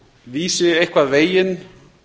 vísi eitthvað veginn